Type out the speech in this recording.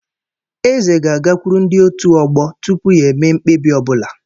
Eze ga-agakwuru ndi ótù ọgbọ tupu ya eme mkpebi ọ bụla